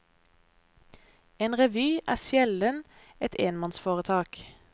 En revy er sjelden et enmannsforetak.